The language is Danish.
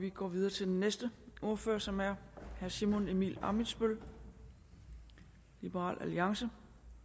vi går videre til den næste ordfører som er herre simon emil ammitzbøll liberal alliance